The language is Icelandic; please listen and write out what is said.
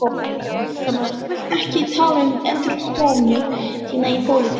Fréttamaður: Þú vilt ekki tala um endurkomu þína í pólitík?